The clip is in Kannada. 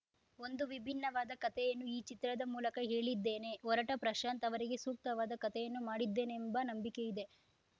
ಒಂದು ವಿಭಿನ್ನವಾದ ಕತೆಯನ್ನು ಈ ಚಿತ್ರದ ಮೂಲಕ ಹೇಳಿದ್ದೇನೆ ಒರಟ ಪ್ರಶಾಂತ್‌ ಅವರಿಗೆ ಸೂಕ್ತವಾದ ಕತೆಯನ್ನು ಮಾಡಿದ್ದೇನೆಂಬ ನಂಬಿಕೆ ಇದೆ